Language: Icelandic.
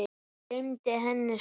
Gleymdi henni svo.